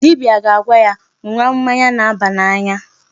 Dibia ga-agwa ya ṅụwa mmanya na-aba n'anya.